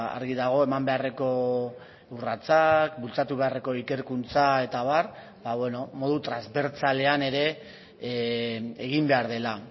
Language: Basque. argi dago eman beharreko urratsak bultzatu beharreko ikerkuntza eta abar modu transbertsalean ere egin behar dela